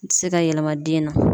Se ka yelema den na.